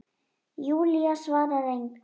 Júlía svarar engu.